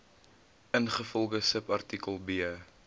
ingevolge subartikel b